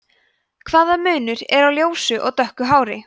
hvaða munur er á ljósu og dökku hári